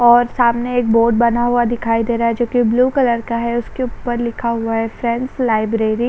और सामने एक बोर्ड बना हुआ दिखाई दे रहा है जो की ब्लू कलर का है उसके ऊपर लिखा हुआ है फ्रेंड्स लाइब्रेरी --